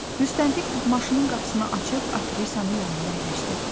Müstəntiq maşının qapısını açıb aktrisanı yanında əyləşdirdi.